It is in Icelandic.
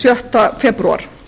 sjötta febrúar